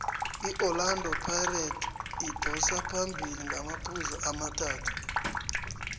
iorlando pirates idosa phambili ngamaphuzu amathathu